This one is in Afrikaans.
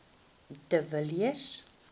de villiers